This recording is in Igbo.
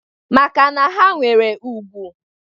Maka na ha nwere ùgwù.